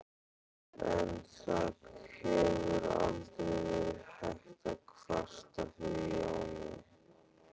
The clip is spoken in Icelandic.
En það hefur aldrei verið hægt að kvarta yfir Jóni.